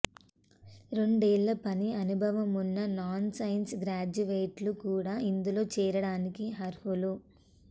రెండేళ్ల పని అనుభవం ఉన్న నాన్ సైన్స్ గ్రాడ్యుయేట్లు కూడా ఇందులో చేరడానికి అర్హులు